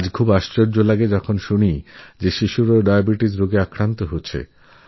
শুনতেআশ্চর্য লাগলেও এটা সত্যি যে বাচ্চারাও আজকাল ডায়াবেটিসএর শিকার